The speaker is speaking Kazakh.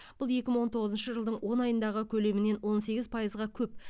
бұл екі мың он тоғызыншы жылдың он айындағы көлемінен он сегіз пайызға көп